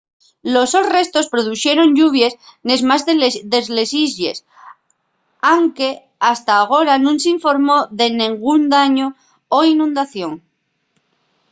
los sos restos produxeron lluvies nes más de les islles anque hasta agora nun s’informó de nengún dañu o inundación